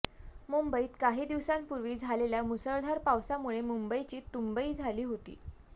मुंबईत काही दिवसांपूर्वी झालेल्या मुसळधार पावसामुळे मुंबईची तुंबई झाली होती